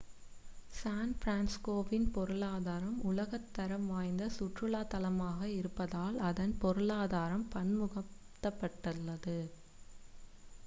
San பிரான்சிஸ்கோவின் பொருளாதாரம் உலகத் தரம் வாய்ந்த சுற்றுலாத் தளமாக இருப்பதால் அதன் பொருளாதாரம் பன்முகப்படுத்தப்பட்டுள்ளது